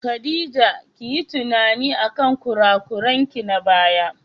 Khadija kiyi tunani akan kurakuranki na baya.